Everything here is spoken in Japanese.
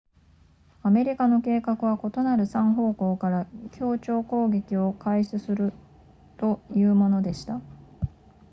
アメリカの計画は異なる3方向から協調攻撃を開始するというものでした